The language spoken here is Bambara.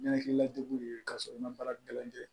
Ɲɛnakilila degun de ye ka sɔrɔ i ma baara gɛlɛn